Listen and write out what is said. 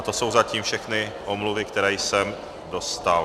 A to jsou zatím všechny omluvy, které jsem dostal.